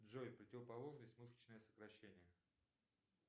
джой противоположность мышечные сокращения